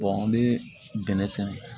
an bɛ bɛnnɛ sɛnɛ